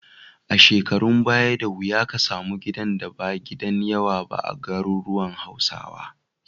A shekarun baya, da wuya ka samu gidan da ba gidan yawa ba a garuruwan Hausawa.